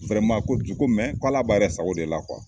ko ju ko k'Ala b'a yɛrɛ sago de la